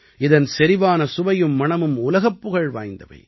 இதன் செறிவான சுவையும் மணமும் உலகப் புகழ் வாய்ந்தவை